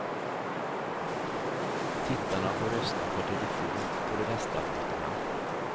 Tittarna får rösta per telefon på de bästa låtarna.